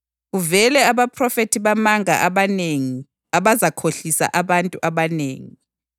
kuvele abaphrofethi bamanga abanengi abazakhohlisa abantu abanengi.